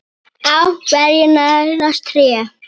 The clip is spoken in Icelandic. Á hverju nærast tré?